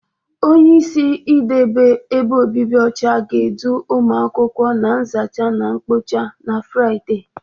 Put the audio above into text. Onyeisi idebe ebe obibi ọcha ga-edu ụmụ akwụkwọ na nzacha na mkpocha na Fraịde.